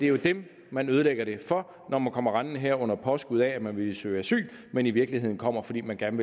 jo dem man ødelægger det for når man kommer rendende her under påskud af at ville søge asyl men i virkeligheden kommer fordi man gerne